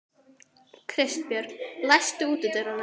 Kristbjörg, læstu útidyrunum.